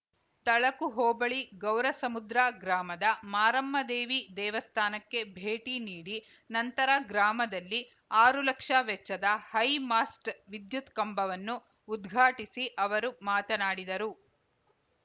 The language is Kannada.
ತಳಕು ಹೋಬಳಿ ಗೌರಸಮುದ್ರ ಗ್ರಾಮದ ಮಾರಮ್ಮದೇವಿ ದೇವಸ್ಥಾನಕ್ಕೆ ಭೇಟಿ ನೀಡಿ ನಂತರ ಗ್ರಾಮದಲ್ಲಿ ಆರು ಲಕ್ಷ ವೆಚ್ಚದ ಹೈಮಾಸ್ಟ್‌ ವಿದ್ಯುತ್‌ ಕಂಬವನ್ನು ಉದ್ಘಾಟಿಸಿ ಅವರು ಮಾತನಾಡಿದರು